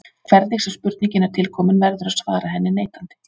Hvernig sem spurningin er tilkomin verður að svara henni neitandi.